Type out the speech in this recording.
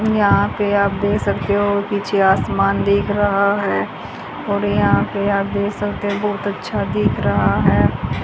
यहां पे आप देख सकते हो पीछे आसमान दिख रहा है और यहां पे आप देख सकते हो बहोत अच्छा दिख रहा है।